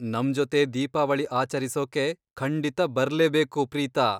ನಮ್ಜೊತೆ ದೀಪಾವಳಿ ಆಚರಿಸೋಕೆ ಖಂಡಿತ ಬರ್ಲೇಬೇಕು, ಪ್ರೀತಾ.